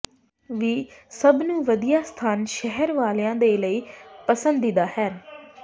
ਵੀ ਸਭ ਨੂੰ ਵਧੀਆ ਸਥਾਨ ਸ਼ਹਿਰ ਵਾਲਿਆ ਦੇ ਲਈ ਪਸੰਦੀਦਾ ਹਨ